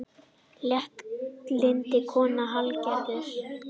Léttlynd kona, Hallgerður.